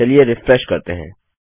चलिए रिफ्रेश करते हैं